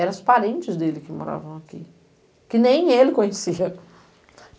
Eram os parentes dele que moravam aqui, que nem ele conhecia.